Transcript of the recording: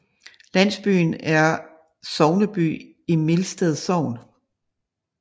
Landsbyen er sogneby i Mildsted Sogn